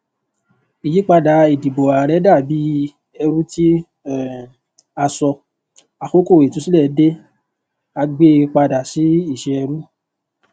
ìyípadà ìdìbò ààrẹ dà bí ẹrú tí um a sọ àkókò ìtúsílẹ dé a gbé e padà sí ìṣẹ ẹrú